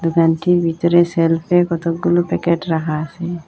দোকানটির ভিতরে সেলফে কতগুলো প্যাকেট রাহা আসে।